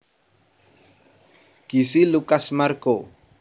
Gisi Lucas Marco